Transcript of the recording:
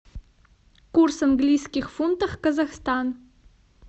курс английских фунтов казахстан